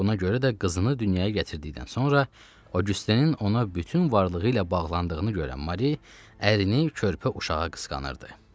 Buna görə də qızını dünyaya gətirdikdən sonra Oqyustenin ona bütün varlığı ilə bağlandığını görən Mari ərini körpə uşağa qısqanırdı.